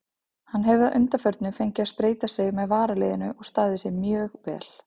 Hann hefur að undanförnu fengið að spreyta sig með varaliðinu og staðið sig mjög vel.